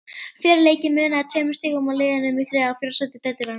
Fyrir leikinn munaði tveimur stigum á liðunum í þriðja og fjórða sæti deildarinnar.